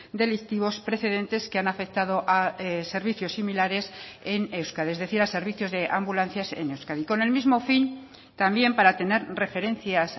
delictivos precedentes que han afectado a servicios similares en euskadi es decir a servicios de ambulancias en euskadi con el mismo fin también para tener referencias